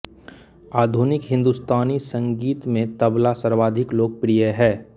आधुनिक हिन्दुस्तानी संगीत में तबला सर्वाधिक लोकप्रिय है